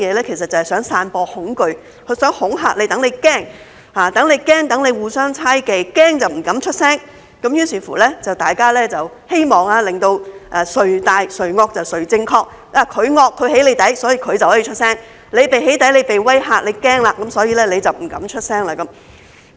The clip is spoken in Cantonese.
其實就是想散播恐懼，想恐嚇對方，讓他們驚，讓他們互相猜忌，他們驚就不敢出聲，希望做到"誰大誰惡誰正確"，他們惡，將對方"起底"，於是他們就可以出聲；那些被"起底"，被威嚇，驚了，所以就不敢出聲。